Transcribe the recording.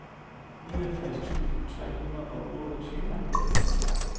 niogfirs tusind tre hundrede og otteogtyve